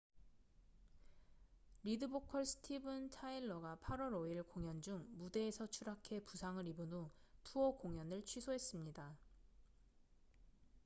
리드 보컬 스티븐 타일러가 8월 5일 공연 중 무대에서 추락해 부상을 입은 후 투어 공연을 취소했습니다